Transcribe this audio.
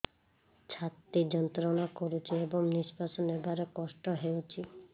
ଛାତି ଯନ୍ତ୍ରଣା କରୁଛି ଏବଂ ନିଶ୍ୱାସ ନେବାରେ କଷ୍ଟ ହେଉଛି